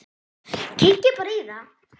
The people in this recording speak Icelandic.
Kíkið bara í þá!